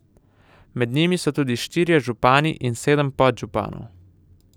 Med njimi so tudi štirje župani in sedem podžupanov.